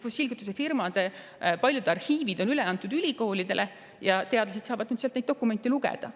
Fossiilkütusefirmade paljud arhiivid on üle antud ülikoolidele ja teadlased saavad nüüd neid dokumente lugeda.